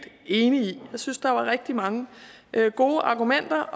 enig i jeg synes der var rigtig mange gode argumenter